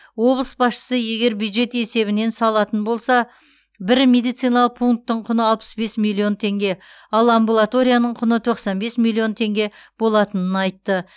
облыс басшысы егер бюджет есебінен салатын болса бір медициналық пунктің құны алпыс бес миллион теңге ал амбулаторияның құны тоқсан бес миллион теңге болатынын айтты